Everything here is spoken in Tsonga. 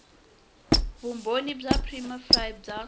vumbhoni bya prima facie bya